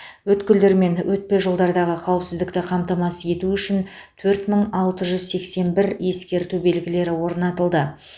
өткелдер мен өтпе жолдардағы қауіпсіздікті қамтамасыз ету үшін төрт алты жүз сексен бір ескерту белгілері орнатылды